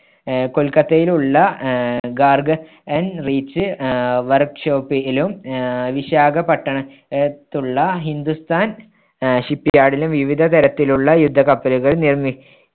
ആഹ് കൊൽക്കത്തയിൽ ഉള്ള ആഹ് garden~n reach ആഹ് workshop ലും ആഹ് വിശാഖപട്ടണത്തുള്ള ഹിന്ദുസ്ഥാൻ ആഹ് shipyard ലും വിവിധ തരത്തിലുള്ള യുദ്ധക്കപ്പലുകൾ നിർമ്മി